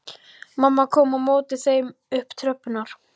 Mamma kom á móti þeim upp tröppurnar.